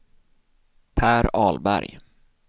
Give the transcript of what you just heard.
Per Ahlberg